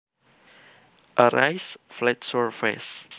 A raised flat surface